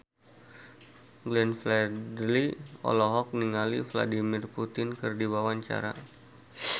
Glenn Fredly olohok ningali Vladimir Putin keur diwawancara